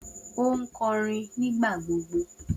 O nkorin nigbagbogbo